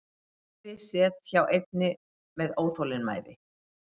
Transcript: Veiði set hjá einni með óþolinmæði